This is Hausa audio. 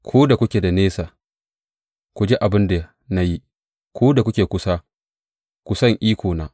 Ku da kuke da nesa, ku ji abin da na yi; ku da kuke kusa, ku san ikona!